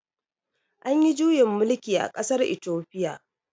Anyi juyin mulki a ƙasar itofiya